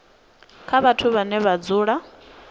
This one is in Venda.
kha vhathu vhane vha dzula